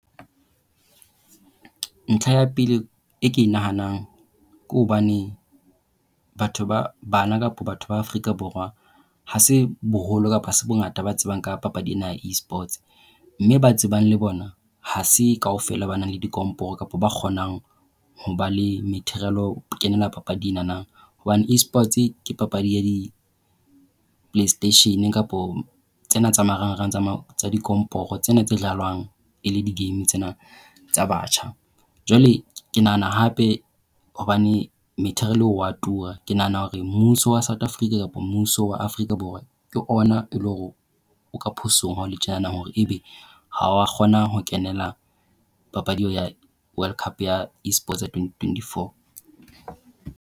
Ntlha ya pele e ke e nahanang ke hobane batho ba bana kapa batho ba Afrika Borwa ha se boholo kapa ha se bongata ba tsebang ka papadi ena ya Esports, mme ba tsebang le bona ha se kaofela ba nang le dikomporo kapa ba kgonang ho ba le material ho kenela papadi ena. Hobane Esports ke papadi e ya di-play station kapa tsena tsa marangrang tsa dikomporo tsena tsa e le di game tsena tsa batjha. Jwale ke nahana hape hobane material o a tura, ke nahana hore mmuso wa South Africa kapa mmuso wa Afrika Borwa ke ona e leng hore o ka phosong ha hole tjenana hore ebe ha o a kgona ho kenela papadi ya World Cup ya Esports Twenty twenty four.